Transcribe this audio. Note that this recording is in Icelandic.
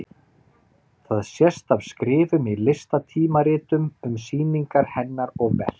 Það sést af skrifum í listatímaritum um sýningar hennar og verk.